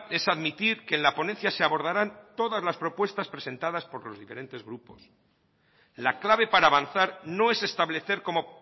es admitir que en la ponencia se abordarán todas las propuestas presentadas por los diferentes grupos la clave para avanzar no es establecer como